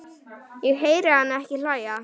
Ég heyri hana ekki hlæja